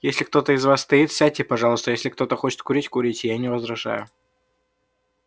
если кто-то из вас стоит сядьте пожалуйста если кто-то хочет курить курите я не возражаю